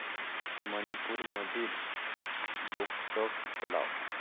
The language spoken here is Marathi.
मणिपूर मधील लोकटक तलाव